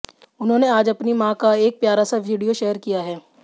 उन्होंने आज अपनी मां का एक प्यारा सा वीडियो शेयर किया है